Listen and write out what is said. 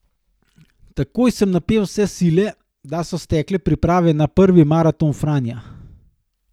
Takoj sem napel vse sile, da so stekle priprave na prvi maraton Franja.